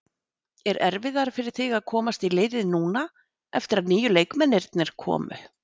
Er erfiðara fyrir þig að komast í liðið núna eftir að nýju leikmennirnir komu?